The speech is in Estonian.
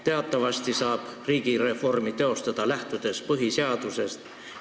Teatavasti saab riigireformi teostada, lähtudes põhiseadusest.